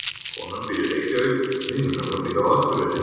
Konan býr í Reykjavík. Vinur hennar býr á Akureyri.